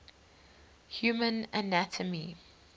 human anatomy